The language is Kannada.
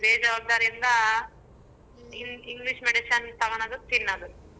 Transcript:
ಬೇಜವಾಬ್ದಾರಿಯಿಂದ En~ English medicine ತಗೋಣೊದು ತಿನ್ನದು.